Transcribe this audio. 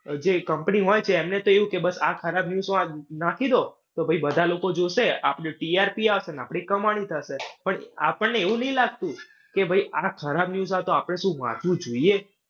જે company હોઈ એમને તો એવું કે બસ આ ખરાબ news નાખી દો. તો ભાઈ બધા લોકો જોશે. આપણને TRP આપશે. ને આપણી કમાણી થશે. પણ આપણને એવું ની લાગતું કે ભાઈ આ ખરાબ news છે તો આપણે શું આપવું જોઈએ?